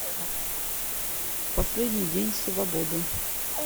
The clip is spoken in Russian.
последний день свободы